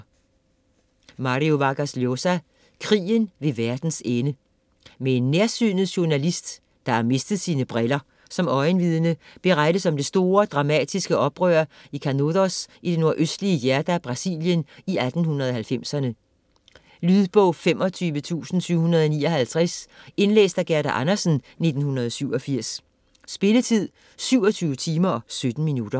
Vargas Llosa, Mario: Krigen ved verdens ende Med en nærsynet journalist (der har mistet sine briller) som øjenvidne berettes om det store og dramatiske oprør i Canudos i det nordøstlige hjørne af Brasilien i 1890'erne. Lydbog 25759 Indlæst af Gerda Andersen, 1987. Spilletid: 27 timer, 17 minutter.